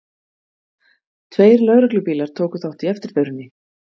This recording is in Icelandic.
Tveir lögreglubílar tóku þátt í eftirförinni